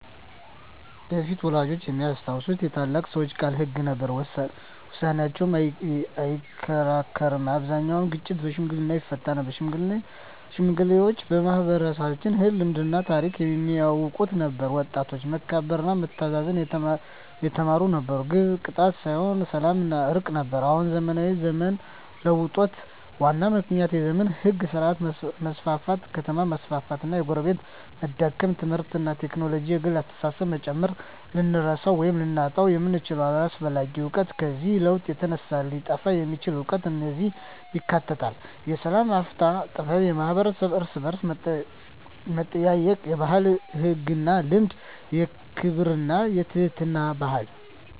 በፊት (ወላጆቻችን የሚያስታውሱት) የታላላቅ ሰዎች ቃል ሕግ ነበር፤ ውሳኔያቸው አይከራከርም አብዛኛውን ግጭት በሽምግልና ይፈታ ነበር ሽማግሌዎች ማኅበራዊ ሕግ፣ ልማድና ታሪክ የሚያውቁ ነበሩ ወጣቶች መከበርና መታዘዝ የተማሩ ነበሩ ግብ ቅጣት ሳይሆን ሰላምና እርቅ ነበር አሁን (ዘመናዊ ዘመን) የለውጡ ዋና ምክንያቶች የዘመናዊ ሕግ ሥርዓት መስፋፋት ከተማ መስፋፋት እና የጎረቤትነት መዳከም ትምህርትና ቴክኖሎጂ የግል አስተሳሰብን መጨመር ልንረሳው ወይም ልናጣው የምንችለው አስፈላጊ እውቀት ከዚህ ለውጥ የተነሳ ሊጠፋ የሚችል እውቀት እነዚህን ያካትታል፦ የሰላም አፈታት ጥበብ የማኅበረሰብ እርስ–በርስ መጠያየቅ የባህላዊ ሕግና ልማድ የክብርና የትሕትና ባህል